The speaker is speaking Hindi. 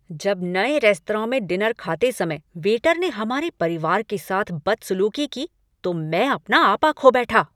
जब नए रेस्तरां में डिनर खाते समय वेटर ने हमारे परिवार के साथ बदसलूकी की तो मैं अपना आपा खो बैठा।